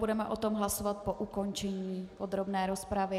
Budeme o tom hlasovat po ukončení podrobné rozpravy.